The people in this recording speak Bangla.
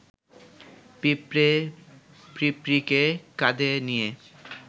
পিঁপড়ে পিঁপড়ীকে কাঁধে নিয়ে